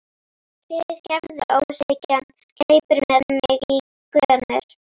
Fyrirgefðu, óskhyggjan hleypur með mig í gönur.